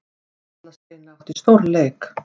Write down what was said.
Erla Steina átti stórleik